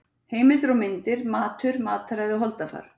Heimildir og myndir Matur, mataræði og holdafar.